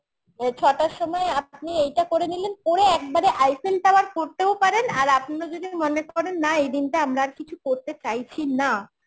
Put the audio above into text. ছটার সময় আপনি এইটা করে নিলেন পড়ে একবারে Eiffel Tower করতেও পারেন আর আপনারা যদি মনে করেন না এই দিনটা আমরা আর কিছু করতে চাইছি না